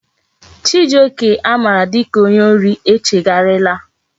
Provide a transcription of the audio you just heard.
Chijioke a mara dika onye ori echegharia la